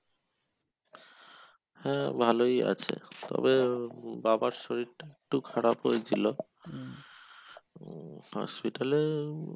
হ্যাঁ ভালোই আছে তবে বাবার শরীরটা একটু খারাপ হয়েছিলো উম hospital এ,